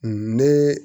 Ne